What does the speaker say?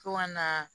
Fo ka na